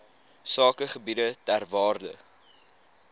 sakegebiede ter waarde